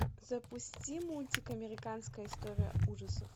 запусти мультик американская история ужасов